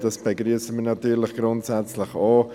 Das begrüssen wir natürlich grundsätzlich auch.